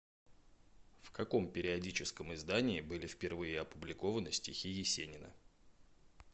в каком периодическом издании были впервые опубликованы стихи есенина